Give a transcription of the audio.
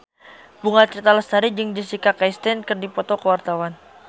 Bunga Citra Lestari jeung Jessica Chastain keur dipoto ku wartawan